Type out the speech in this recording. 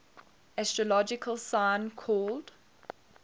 astrological sign called